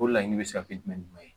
O laɲini bɛ se ka kɛ jumɛn ni jumɛn ye.